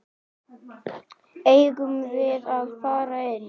Eigum við að fara inn?